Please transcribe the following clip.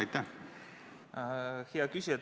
Hea küsija!